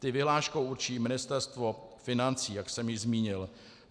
Ty vyhláškou určí Ministerstvo financí, jak jsem již zmínil.